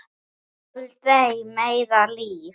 Aldrei meira líf.